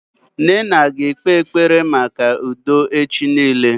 Nnanna ga ekpe ekpere maka udo echi niile